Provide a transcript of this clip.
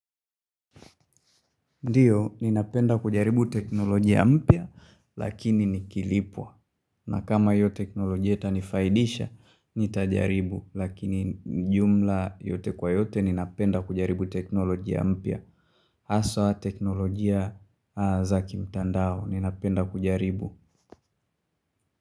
Ndiyo, ninapenda kujaribu teknolojia mpia, lakini nikilipwa. Na kama hiyo teknolojia itanifaidisha, nitajaribu. Lakini jumla yote kwa yote ninapenda kujaribu teknolojia mpia. Aswa teknolojia za kimtandao, ninapenda kujaribu.